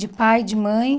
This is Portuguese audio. De pai, de mãe.